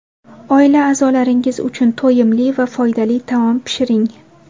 Oila a’zolaringiz uchun to‘yimli va foydali taom pishiring.